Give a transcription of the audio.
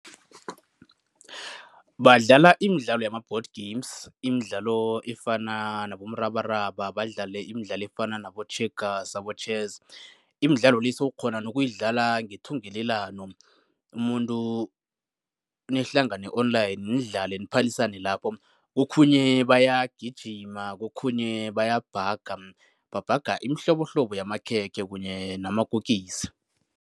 Badlala imidlalo yama-board games. Imidlalo efana nabomrabaraba, badlale imidlalo efana nabo-checkers, abo-chess. Imidlalo le sowukghona nokuyidlala ngethungelelano, umuntu nihlangane online, nidlale niphalisane lapho. Kokhunye bayagijima, kokhunye bayabhaga, babhaga imihlobohlobo yamakhekhe kunye namakokisi.